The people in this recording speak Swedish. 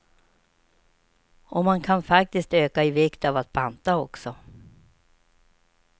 Och man kan faktiskt öka i vikt av att banta också.